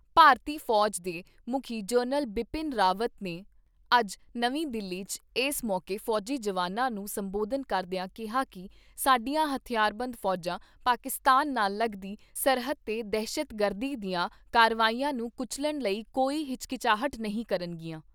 ਭਾਰਤੀ ਫੌਜ ਦੇ ਮੁਖੀ ਜਨਰਲ ਬਿਪਿਨ ਰਾਵਤ ਨੇ ਅੱਜ ਨਵੀਂ ਦਿੱਲੀ 'ਚ ਏਸ ਮੌਕੇ ਫੌਜੀ ਜਵਾਨਾਂ ਨੂੰ ਸੰਬੋਧਨ ਕਰਦਿਆ ਕਿਹਾ ਕਿ ਸਾਡੀਆਂ ਹਥਿਆਰਬੰਦ ਫੌਜਾਂ, ਪਾਕਿਸਤਾਨ ਨਾਲ ਲਗਦੀ ਸਰਹੱਦ ਤੇ ਦਹਿਸ਼ਤਗਰਦੀ ਦੀਆਂ ਕਾਰਵਾਈਆਂ ਨੂੰ ਕੁਚੱਲਣ ਲਈ ਕੋਈ ਹਿਚਕਚਾਹਟ ਨਹੀਂ ਕਰਨਗੀਆਂ।